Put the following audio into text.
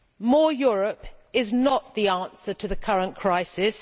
More Europe is not the answer to the current crisis.